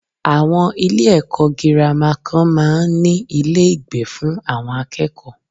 Àwon Ilé èkó girama kan máa n ní Ilé ìgbé fún àwon akéèkó